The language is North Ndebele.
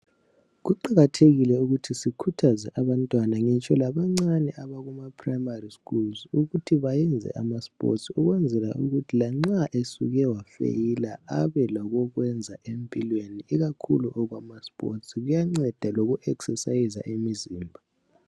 Kuqakathekile ukuthi sikhuthaze abantwana ngitsho labancane abakuma primary schools ukuthi bayenze amasports ukuthi lanxa besuke bafeyila abe lokokwenza empilweni ikakhulu lokwama sports kuyanceda kuya exerciser umzimba.